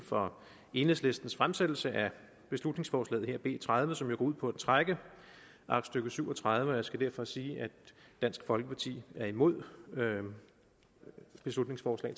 for enhedslistens fremsættelse af beslutningsforslaget her b tredive som jo går ud på at trække aktstykke syv og tredive tilbage og jeg skal derfor sige at dansk folkeparti er imod beslutningsforslag